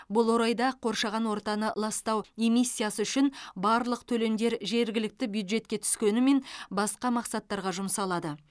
бұл орайда қоршаған ортаны ластау эмиссиясы үшін барлық төлемдер жергілікті бюджетке түскенімен басқа мақсаттарға жұмсалады